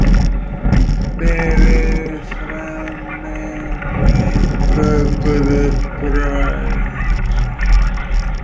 Berið fram með nýbökuðu brauði.